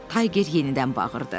Tayger yenidən bağırdı.